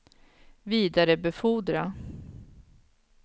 vidarebefordra